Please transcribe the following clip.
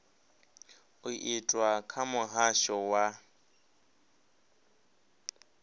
u itwa kha muhasho wa